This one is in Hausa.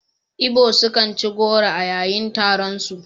Igbo sukan ci goro a yayin taronsu.